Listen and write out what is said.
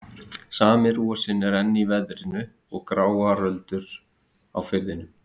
Sami rosinn var enn í veðrinu og gráar öldur á firðinum.